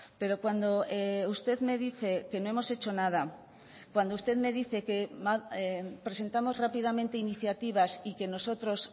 pero cuando usted me dice que no hemos hecho nada cuando usted me dice que presentamos rápidamente iniciativas y que nosotros